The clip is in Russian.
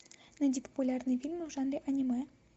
найди популярные фильмы в жанре аниме